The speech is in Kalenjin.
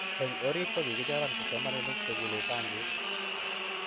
eng oriit kokichoran kipsomaninik chekulei bankik